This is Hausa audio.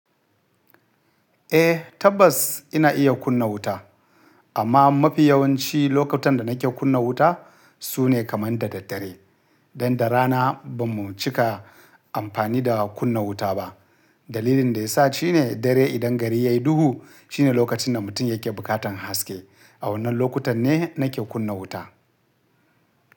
Eh tabbas ina iya kunna wuta amma mafi yawanci lokutan da nake kunna wuta sune kamar da dare. Don da raana bamu cika amfani da kunna wuta ba. Dalilin da ya sa shine dare idan gari yayi duhu shine lokacin da mutum yake bukatan haske. A wannan lokutan ne nake kunna wuta.